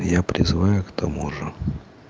я призываю к тому же